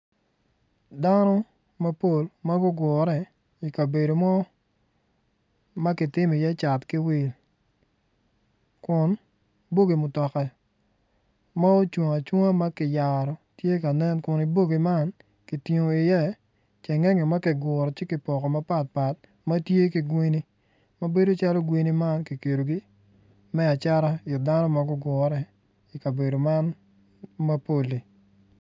Dano mapol ma gugure i kabade mo ma kitimi iye cat ki wil bogi mutoka ma ocung acunga ma ki yaro kun ibogi man ki tingo iye cengenge ma ki guru ci kipoko mapat pat ma tye ki gweni ma bedo calo gweni ma ki kelogi me acata it dano ma gugure i kabedo man mapol-li